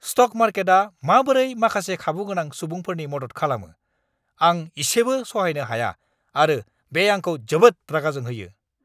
Stock मार्केटआ माबोरै माखासे खाबु गोनां सुबुंफोरनि मदद खालामो, आं इसेबो सहायनो हाया आरो बे आंखौ जोबोद रागा जोंहोयो।